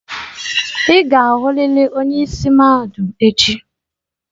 Ị ga-ahụrịrị onye isi mahadum echi.